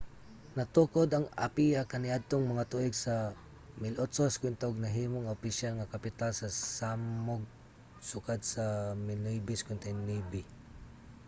natukod ang apia kaniadtong mga tuig sa 1850 ug nahimo nga opisyal nga kapital sa samoa sukad sa 1959